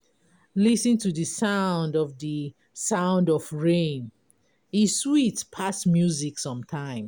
Lis ten to the sound of the sound of rain, e sweet pass music sometimes.